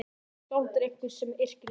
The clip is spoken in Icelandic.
Skáld er einhver sem yrkir ljóð.